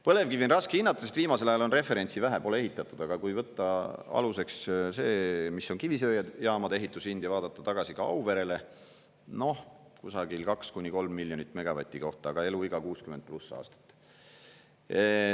Põlevkivi on raske hinnata, sest viimasel ajal on referentsi vähe, pole ehitatud, aga kui võtta aluseks see, mis on kivisöejaamade ehitushind ja vaadata tagasi ka Auverele – noh, kusagil 2–3 miljonit eurot megavati kohta, aga eluiga 60+ aastat.